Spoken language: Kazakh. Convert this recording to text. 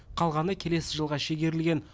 қалғаны келесі жылға шегерілген